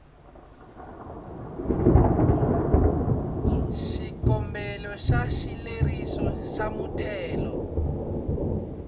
xikombelo xa xileriso xa muthelo